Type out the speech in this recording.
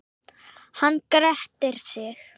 Hann grettir sig.